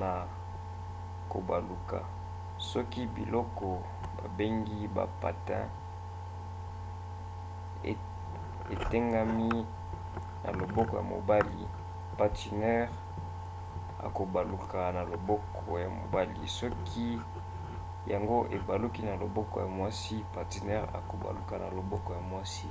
na kobaluka. soki biloko babengi ba patins etengami na loboko ya mobali patineur akobaluka na loboko ya mobali soki yango ebaluki na loboko ya mwasi patineur akobaluka na loboko ya mwasi